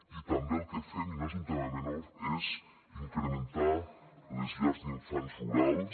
i també el que fem i no és un tema menor és incrementar les llars d’infants rurals